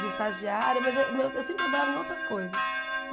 de estagiária, mas eu eu sempre trabalhava em outras coisas.